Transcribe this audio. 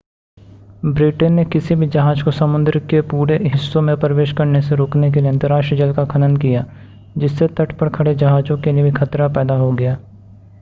Britain ने किसी भी जहाज को समुद्र के पूरे हिस्सों में प्रवेश करने से रोकने के लिए अंतरराष्ट्रीय जल का खनन किया जिससे तट पर खड़े जहाजों के लिए भी खतरा पैदा हो गया